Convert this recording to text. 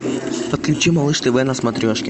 подключи малыш тв на смотрешке